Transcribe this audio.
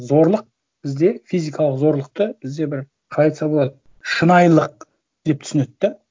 зорлық бізде физикалық зорлықты бізде бір қалай айтса болады шынайылық деп түсінеді да